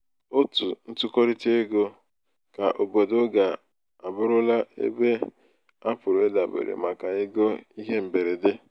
otu ntụkọrịta ego keobodo ga abụrụla ebe a pụrụ idabere um pụrụ idabere um maka ego ihe mberede.